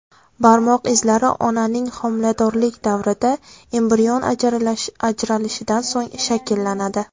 Barmoq izlari onaning homiladorlik davrida, embrion ajralishidan so‘ng shakllanadi.